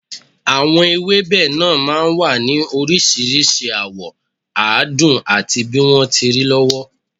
Àwọn ewébẹ̀ náà máa ń wà ní oríṣiríṣi àwọ̀, àádùn àti bí wọ́n ti rí lọ́wọ́